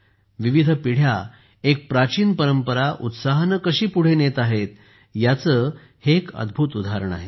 विविध पिढ्या एक प्राचीन परंपरा उत्साहाने कशी पुढे नेत आहेत याचे हे एक अद्भुत उदाहरण आहे